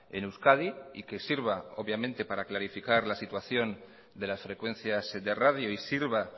en euskadi y que sirva obviamente para clarificar la situación de las frecuencias de radio y sirva